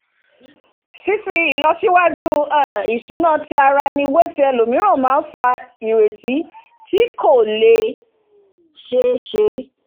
fífi ìlọsíwájú um ìṣúná ti ara ẹni wé ti ẹlòmíràn máa ń fa ìrètí tí kò lè ṣeéṣe